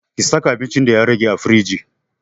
Ki saka abincin da ya rage a firingi